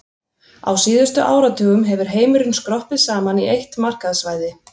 Á síðustu áratugum hefur heimurinn skroppið saman í eitt markaðssvæði.